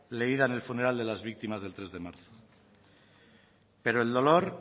leída en el funeral de las víctimas del tres de marzo pero el dolor